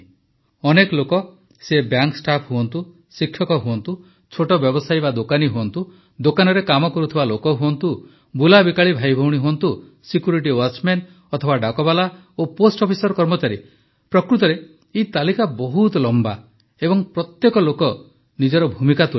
ଅନେକ ଲୋକ ସେ ବ୍ୟାଙ୍କ ଷ୍ଟାଫ୍ ହୁଅନ୍ତୁ ଶିକ୍ଷକ ହୁଅନ୍ତୁ ଛୋଟ ବ୍ୟବସାୟୀ ବା ଦୋକାନୀ ହୁଅନ୍ତୁ ଦୋକାନରେ କାମ କରୁଥିବା ଲୋକ ହୁଅନ୍ତୁ ବୁଲାବିକାଳି ଭାଇଭଉଣୀ ହୁଅନ୍ତୁ ସିକ୍ୟୁରିଟି ୱାଚମ୍ୟାନ ଅଥବା ଡାକବାଲା ଓ ପୋଷ୍ଟ୍ ଅଫିସ୍ର କର୍ମଚାରୀ ପ୍ରକୃତରେ ଏହି ତାଲିକା ବହୁତ ଲମ୍ବା ଏବଂ ପ୍ରତ୍ୟେକ ଲୋକ ନିଜର ଭୂମିକା ତୁଲାଇଛନ୍ତି